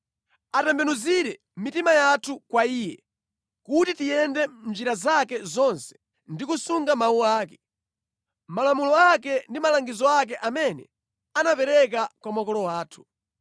Atembenuzire mitima yathu kwa Iye, kuti tiyende mʼnjira zake zonse ndi kusunga mawu ake, malamulo ake ndi malangizo ake amene anapereka kwa makolo athu.